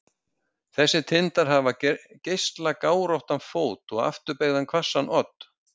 þessir tindar hafa geislagáróttan fót og afturbeygðan hvassan odd